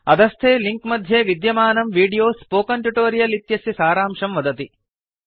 अधस्थे लिंक मध्ये विद्यमानं वीडियो स्पोकन ट्युटोरियल् इत्यस्य सारांशं वदति